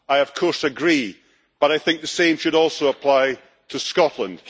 I, of course, agree, but I think the same should also apply to Scotland.